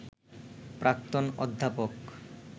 প্রাক্তন অধ্যাপক